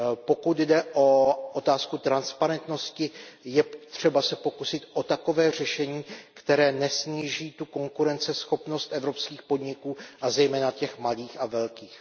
Pokud jde o otázku transparentnosti, je třeba se pokusit o takové řešení, které nesníží tu konkurenceschopnost evropských podniků, a zejména těch malých a velkých.